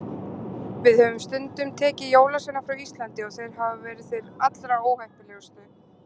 Við höfum stundum tekið jólasveina frá Íslandi og þeir hafa verið þeir allra óheppilegustu.